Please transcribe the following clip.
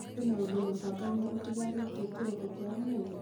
kwĩna ũndũ mũbangane ũtigarĩke kĩroko kĩa ũmũthĩ